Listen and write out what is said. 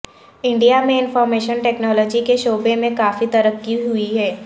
India میں information technology کے شعبے میں کافی ترقی ہوئی ہے